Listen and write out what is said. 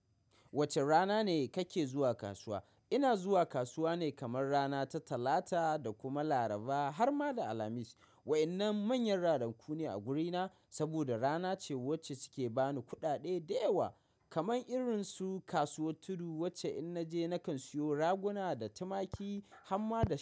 Wacce rana ne kake zuwa kasuwa? Ina zuwa kasuwa ne kamar rana ta Talata da kuma Laraba har ma da Alhamis. Wa'innan manyan ranaku ne a gurina, saboda rana ce wacce suke bani kuɗaɗe da yawa. Kaman irinsu kasuwar Tudu, wacce in naje nakan siyo Raguna da Tumaki har ma da sai.